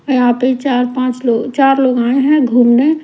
यहां पे चार पांच लोग चार लोग आये है घूमने।